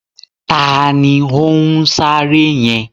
Taàní ó ń sáré yẹn?